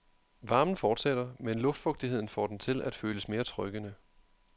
Varmen fortsætter, men luftfugtigheden får den til at føles mere trykkende.